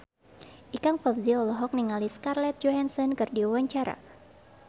Ikang Fawzi olohok ningali Scarlett Johansson keur diwawancara